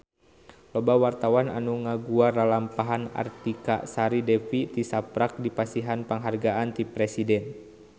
Loba wartawan anu ngaguar lalampahan Artika Sari Devi tisaprak dipasihan panghargaan ti Presiden